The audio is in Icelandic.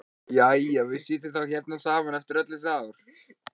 Jæja, við sitjum þá hérna saman eftir öll þessi ár.